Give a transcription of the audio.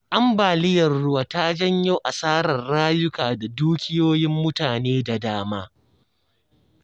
Ambaliyar ruwa ta janyo asarar rayuka da dukiyoyin mutane da dama